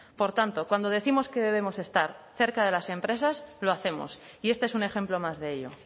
por tanto cuando décimos que debemos estar cerca de las empresas lo hacemos y este es un ejemplo más de ello